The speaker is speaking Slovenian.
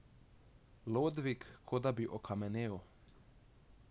Lodvig kot da bi okamenel.